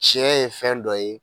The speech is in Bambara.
Sɛ ye fɛn dɔ ye